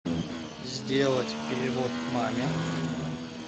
сделать перевод маме